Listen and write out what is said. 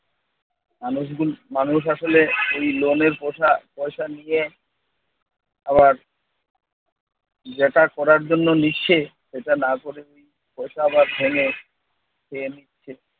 আমরা যদি মানুষ আসলে এই লোনের পয়সা পয়সা নিয়ে আবার যেটা করার জন্য নিচ্ছে সেটা না করে যদি পয়সা আবার ভেঙ্গে খেয়ে নিচ্ছে